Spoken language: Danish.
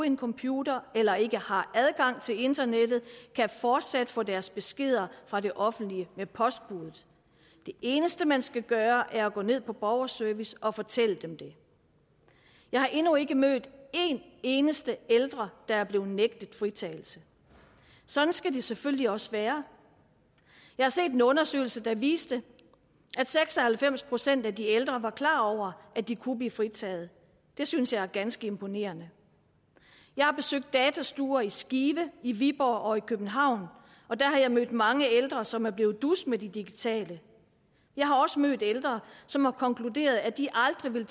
en computer eller ikke har adgang til internettet kan fortsat få deres beskeder fra det offentlige med postbudet det eneste man skal gøre er at gå ned på borgerservice og fortælle dem det jeg har endnu ikke mødt en eneste ældre der er blevet nægtet fritagelse sådan skal det selvfølgelig også være jeg har set en undersøgelse der viste at seks og halvfems procent af de ældre var klar over at de kunne blive fritaget det synes jeg er ganske imponerende jeg har besøgt datastuer i skive i viborg og i københavn og der har jeg mødt mange ældre som er blevet dus med det digitale jeg har også mødt ældre som har konkluderet at de aldrig vil